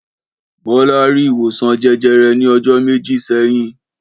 Bọ́lá rí ìwòsàn jẹjẹrẹ ní ọjọ́ méjì sẹ́yìn.